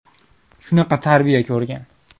Shunaqa tarbiya ko‘rgan.